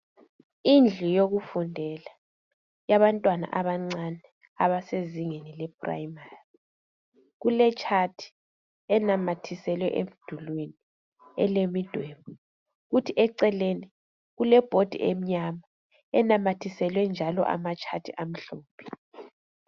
Indlu yekufundela yabantwana abancane abasezingeni le primary kuletshathi elinamathiselwe emdulini elemidwebe kuthi eceleni kule bhodi emnyama enamathiselwe njalo amatshathi amhlophe.